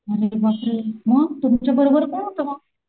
अरे बापरे मग तुमच्या बरोबर कोण होत मग?